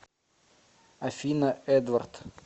афина эдвард